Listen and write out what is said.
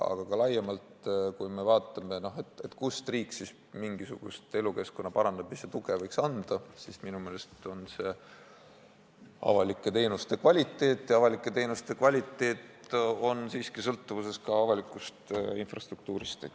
Aga ka laiemalt, kui me vaatame, kus riik mingisugust elukeskkonna parandamise tuge võiks anda, siis minu meelest on see avalike teenuste kvaliteedi parandamine, ja avalike teenuste kvaliteet on siiski sõltuvuses ka avalikust infrastruktuurist.